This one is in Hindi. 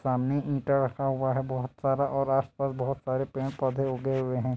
सामने ईटा रखा हुआ है बहोत सारा आस पास पेड़ पौधे उगे हुए है